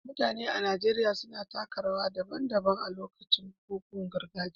Mutane a Najeriya suna taka rawa daban-daban a lokacin bukukuwan gargajiya.